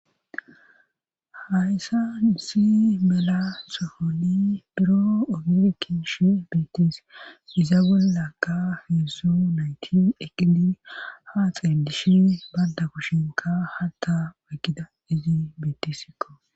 hayssa isi mela sohoni biro omerkishi beittis iza bole lakka heeso nayti eqidi ha xeelishe badda kushinka hatta wayggida izi bittisikko